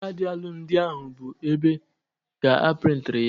Kaadị alụmdi ahụ bụ ebea ka a prịntị ya